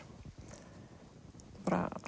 bara